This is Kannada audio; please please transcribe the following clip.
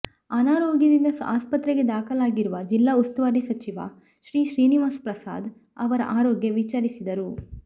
ಅನಾರೋಗ್ಯದಿಂದ ಆಸ್ಪತ್ರೆಗೆ ದಾಖಲಾಗಿರುವ ಜಿಲ್ಲಾ ಉಸ್ತುವಾರಿ ಸಚಿವ ಶ್ರೀನಿವಾಸಪ್ರಸಾದ್ ಅವರ ಆರೋಗ್ಯ ವಿಚಾರಿಸಿದರು